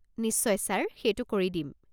নিশ্চয় ছাৰ, সেইটো কৰি দিম।